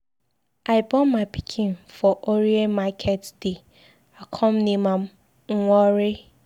I born my pikin for Orie market day, I come name am Nworie.